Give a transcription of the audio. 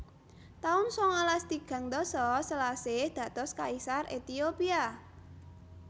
taun sangalas tigang dasa Selasih dados Kaisar Ethiopia